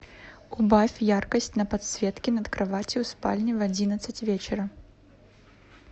убавь яркость на подсветке над кроватью в спальне в одиннадцать вечера